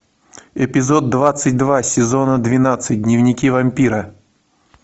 эпизод двадцать два сезона двенадцать дневники вампира